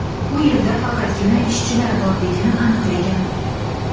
u yerda faqatgina ishchilar borligini aniqlagan.